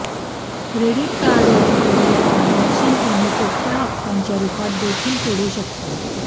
credit कार्डवरून केलेलं transaction तुम्ही सोप्या हफ्त्यांच्या रूपात देखील फेडू शकता